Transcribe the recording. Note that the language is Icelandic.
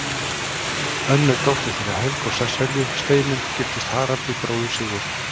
Önnur dóttir þeirra Helga og Sesselju, Steinunn, giftist Haraldi, bróður Sigurðar.